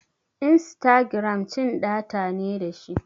Instagiram cin data ne dashi